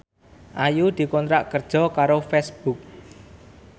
Ayu dikontrak kerja karo Facebook